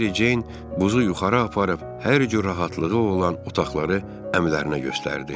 Meri Buzu yuxarı aparıb hər cür rahatlığı olan otaqları əmilərinə göstərdi.